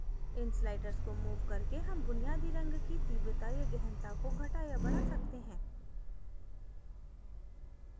इन sliders को move करके हम बुनियादी रंग की तीव्रता या गहनता को घटा या बढा सकते हैं